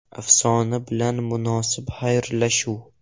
Afsona bilan munosib xayrlashuv.